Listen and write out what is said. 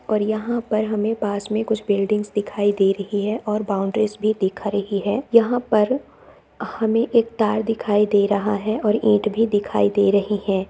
और यहाँ पर हमे पास में कुछ बिलिडिंग्स दिखाई दे रही है और बाउंड्रीज भी दिख रही है। यहाँ पर हमें एक तार दिखाई दे रहा है और ईट भी दिखाई दे रही हैं।